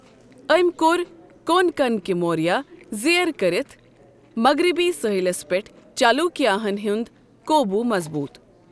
أمۍ كو٘ر كون كنٕكہِ مورِیہ زیر كرِتھ مغربی سٲحِلس پیٹھ چالوُكیا ہن ہٗند قوبوُ مضبوط ۔